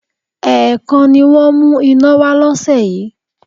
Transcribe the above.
Ẹ̀ẹ̀kan ni wọ́n mú iná wá lọ́sẹ̀ yìí